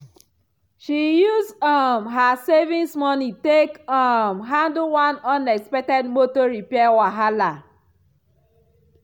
she use um her savings money take um handle one unexpected motor repair wahala.